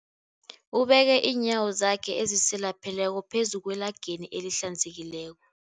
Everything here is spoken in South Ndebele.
Ubeke iinyawo zakhe ezisilapheleko phezu kwelageni elihlanzekileko.